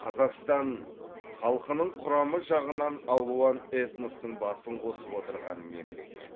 қазақстан халқының құрамы жағынан алуан этностың басын қосып отырған мемлекет